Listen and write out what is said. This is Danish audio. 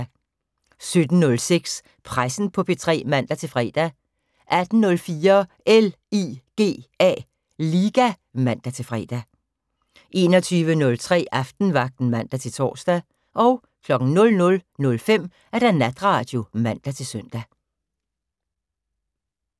17:06: Pressen på P3 (man-fre) 18:04: LIGA (man-fre) 21:03: Aftenvagten (man-tor) 00:05: Natradio (man-søn)